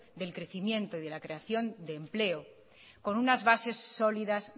del crecimiento y de la creación de empleo con una base sólidas